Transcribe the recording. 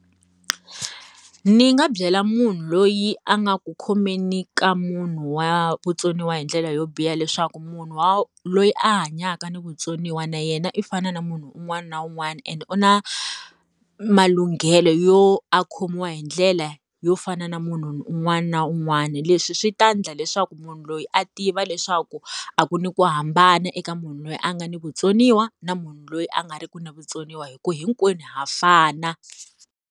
Ndzi nga byela munhu loyi a nga ku khomeni ka munhu wa vutsoniwa hi ndlela yo biha leswaku munhu wa loyi a hanyaka ni vutsoniwa na yena i fana na munhu un'wana na un'wana ene u na, malunghelo yo a khomiwa hi ndlela yo fana na munhu un'wana na un'wana. Leswi swi ta endla leswaku munhu loyi a tiva leswaku a ku ni ku hambana eka munhu loyi a nga ni vutsoniwa na munhu loyi a nga ri ki na vutsoniwa hi ku hinkwenu ha fana.